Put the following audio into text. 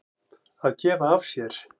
Að gefa af sér.